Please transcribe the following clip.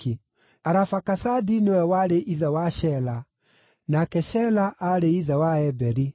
Arafakasadi nĩwe warĩ ithe wa Shela, nake Shela aarĩ ithe wa Eberi.